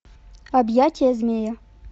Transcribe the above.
объятия змея